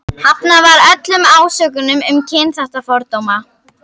Hafnað var öllum ásökunum um kynþáttafordóma.